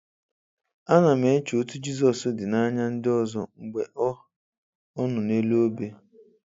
Ana m eche etu Jizọs dị n'anya ndị ọzọ mgbe ọ ọ nọ n'elu obe.